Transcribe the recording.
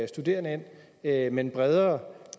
studerende ind med en bredere